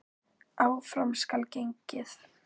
Áfram skal gengið.